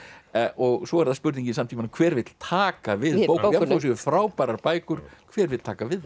og svo er það spurningin samt hver vill taka við bókunum jafnvel þó það séu frábærar bækur hver vill taka við